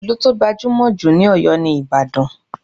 Ìlú tó gbajúmọ̀ jù ní Oyo ni Ìbàdàn.